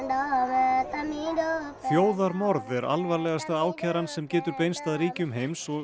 Róhingjum þjóðarmorð er alvarlegasta ákæran sem getur beinst að ríkjum heims og